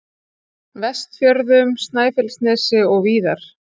Vestfjörðum, Snæfellsnesi og víðar.